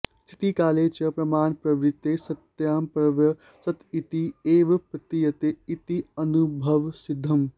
स्थितिकाले च प्रमाणप्रवृतौ सत्यां सर्वं सत् इति एव प्रतीयते इति अनुभवसिद्धम्